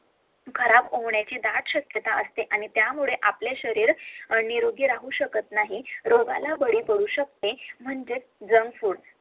खराब होण्याची DIET श्यक्यता असते आणित्यामुळे आपले शरीर निरोगी राहू शकत नाही